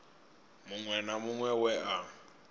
muṅwe na muṅwe we a